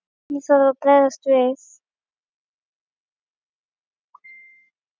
Hvernig þarf að bregðast við?